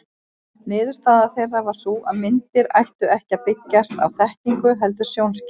Niðurstaða þeirra var sú að myndir ættu ekki að byggjast á þekkingu heldur sjónskynjun.